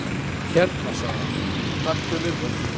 """Hérna sagði hann, taktu við þeim"""